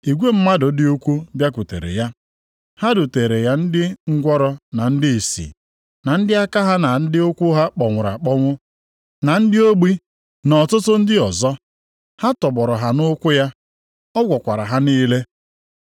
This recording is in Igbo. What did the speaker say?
Igwe mmadụ dị ukwuu bịakwutere ya. Ha duteere ya ndị ngwụrọ, na ndị ìsì, na ndị aka ha na ndị ụkwụ ha kpọnwụrụ akpọnwụ, na ndị ogbi, na ọtụtụ ndị ọzọ. Ha tọgbọrọ ha nʼụkwụ ya, ọ gwọkwara ha niile.